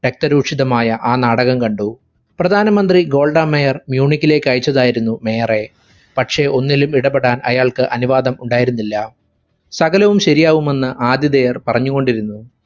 രക്‌തരൂക്ഷിതമായ ആ നാടകം കണ്ടു. പ്രധാനമന്ത്രി ഗോൾഡ മേയർ മ്യുയൂണിക്കിലേക്ക് അയച്ചതായിരുന്നു mayor റെ. പക്ഷെ ഒന്നിലും ഇടപെടാൻ അയാൾക് അനുവാദം ഉണ്ടായിരുന്നില്ല. സകലവും ശരിയാവുമെന്ന് ആഥിതേയർ പറഞ്ഞുകൊണ്ടിരുന്നു.